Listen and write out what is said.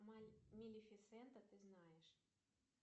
малефисента ты знаешь